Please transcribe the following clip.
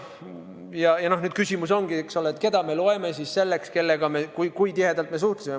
Ja nüüd küsimus ongi, eks ole, keda me loeme selleks, kellega me tihedalt suhtlesime.